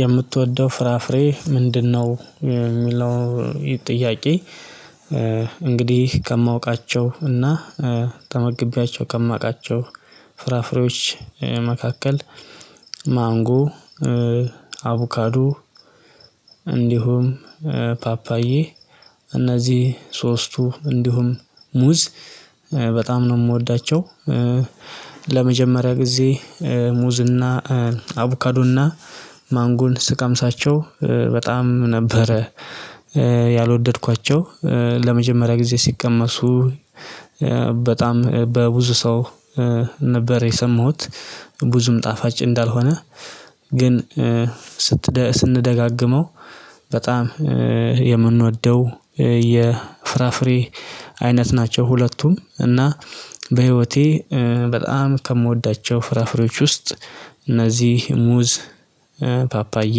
የምትወደው ፍራፍሬ ምንድነው የሚለው ጥያቄ? እንግዲህ ከማውቃቸው እና ተመግቤያቸው ከማውቃቸው ፍራፍሬዎች መካከል ማንጎ አቡካዶ እንዲሁም ፓፓዬ እነዚህ ሶስቱ እንዲሁም ሙዝ በጣም ነው የምወዳቸው። ለመጀመሪያ ጊዜ ሙዝ እና አቡካዶ እና ማንጎን ስቃምሳቸው በጣም ነበረ ያልወደድኳቸው ለመጀመሪያ ጊዜ ሲቀመሱ በጣም በብዙ ሰው ነበር የሰማሁት። ብዙም ጣፋጭ እንዳልሆነ ግን ስንደጋግመው በጣም የምንወደው የፍራፍሬ አይነት ናቸው። ሁለቱም እና በህይወቴ በጣም ከምወዳቸው ፍራፍሬዎች ውስጥ እነዚህ ሙዝ ፓፓዬ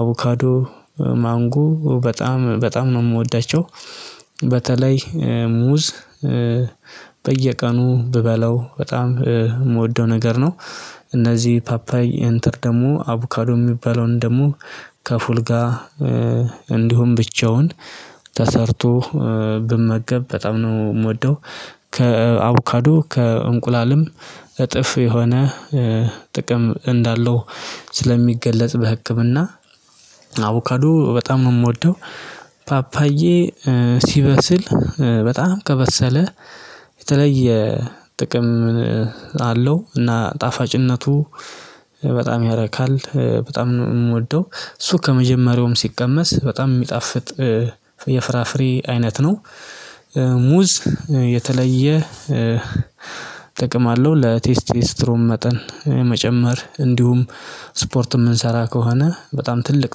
አቮካዶ ማንጎ በጣም በጣም ነው የምወዳቸው በተለይ ሙዝ በየቀኑ ብበላው በጣም የምወደው ነገር ነው። እነዚህ ፓፓይ ኤንተር ደግሞ አቡካዶ የሚባለውን ደግሞ ከፉል ጋር እንዲሁም ብቻውን ተሰርቶ ብመገብ በጣም ነው የምወደው። ከአቡካዶ ከእንቁላልም እጥፍ የሆነ ጥቅም እንዳለው ስለሚገለጽ በህክምና አቮካዶ በጣም ነው የምወደውፓፓዬ። ሲበስል በጣም ከበሰለ የተለየ ጥቅም አለው እና ጣፋጭነቱ በጣም ያረካል በጣም ነው የምወደው እሱ ከመጀመሪያውም ሲቀመስ በጣም የሚጣፍጥ የፍራፍሬ አይነት ነው። ሙዝ የተለየ ጥቅም አለው ለቴስቴስትሮም መጠን መጨመር እንዲሁም ስፖርት የምንሰራ ከሆነ በጣም ትልቅ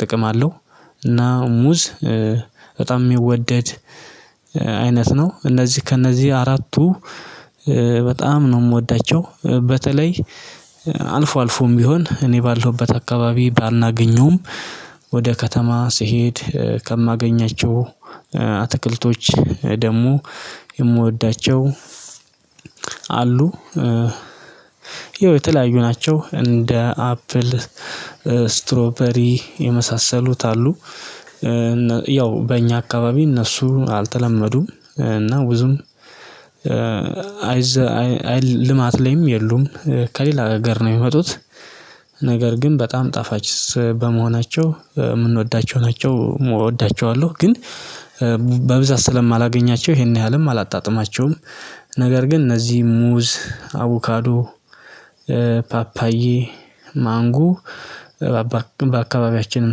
ጥቅም አለው። እና ሙዝ በጣም የሚወደድ አይነት ነው። እነዚህ ከእነዚህ አራቱ በጣም ነው የምወዳቸው በተለይ አልፎ አልፎም ቢሆን እኔ ባለሁበት አካባቢ ባናገኙም ወደ ከተማ ስሄድ ከማገኛቸው አትክልቶች ደግሞ የምወዳቸው አሉ። ይኸው የተለያዩ ናቸው እንደ አፕል ስትሮፐሪ የመሳሰሉት አሉ። ያው በእኛ አካባቢ እነሱ አልተለመዱም እና ብዙም አይ ልማት ላይም የሉም። ከሌላ ሀገር ነው የሚመጡት ነገር ግን በጣም ጣፋጭ በመሆናቸው የምንወዳቸው ናቸው። እወዳቸዋለሁ ግን በብዛት ስለማላገኛቸው ይሄን ያህልም አላጣጥማቸውም። ነገር ግን እነዚህ ሙዝ አቮካዶ ፓፓዬ ማንጎ በአካባቢያችንም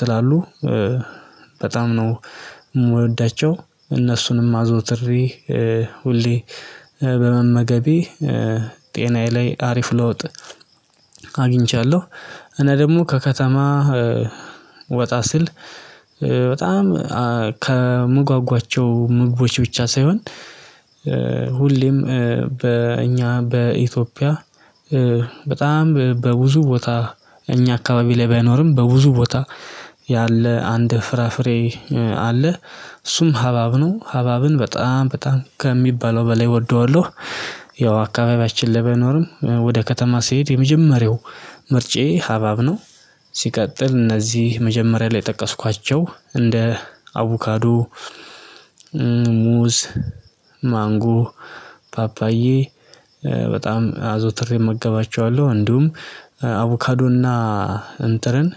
ስላሉ በጣም ነው የምወዳቸው። እነሱንም አዞትሬ ሁሌ በመመገቤ ጤናዬ ላይ አሪፍ ለውጥ አግቻለሁ። እና ደግሞ ከከተማ ወጣ ስል በጣም ከምጓጓቸው ምግቦች ብቻ ሳይሆን ሁሌም በእኛ በኢትዮጵያ በጣም በብዙ ቦታ እኛ አካባቢ ላይ ባይኖርም በብዙ ቦታ ያለ አንድ ፍራፍሬ አለ እሱም ሀባብ ነው። ሀባብን በጣም በጣም ከሚባለው በላይ እወደዋለሁ። ያው አካባቢያችን ባይኖርም ወደ ከተማ ስሄድ የመጀመሪያው ምርጫዬ ሀባብ ነው። ሲቀጥል እነዚህ መጀመሪያ ላይ የጠቀስኳቸው እንደ አቡካዶ ሙዝ ማንጎ ፓፓዬ በጣም አዘውትሬ እመገባቸዋለሁ። እንዲሁም አቮካዶ እና እንትርን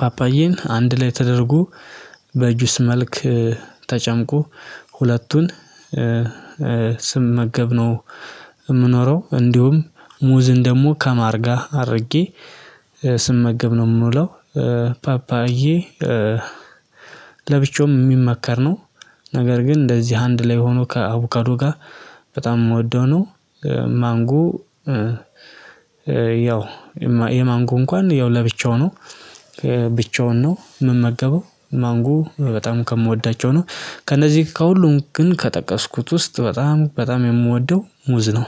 ፓፓዬን አንድ ላይ ተደርጎ በጁሰ መልክ ተጨምቆ ሁለቱን ስመገብ ነው የምኖረው። እንዲሁም ሙዝን ደግሞ ከማርጋ አድርጌ ስመገብ ነው የምውለው። ፓፓዬ ለብቻውም የሚመከር ነው። ነገር ግን እንደዚህ አንድ ላይ ሆኖ ከአቡካዶ ጋር በጣም የምወደው ነው። ማንጎ ያው የማንጎ እንኳን ያው ለብቻው ነው። ብቻውን ነው ምን መገበው? ማንጎ በጣም ከምወዳቸው ነው ከነዚህ ከሁሉም ግን ከጠቀስኩት ውስጥ በጣም በጣም የምወደው ሙዝ ነው።